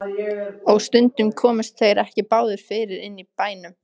Og stundum komust þeir ekki báðir fyrir inni í bænum.